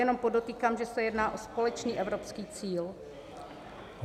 Jenom podotýkám, že se jedná o společný evropský cíl.